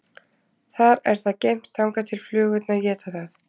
Þar er það geymt þangað til flugurnar éta það.